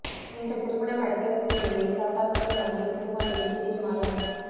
இன்று திருமணம் நடக்கவிருந்த நிலையில் சாத்தான்குளம் அருகே புதுமாப்பிள்ளை திடீர் மாயம்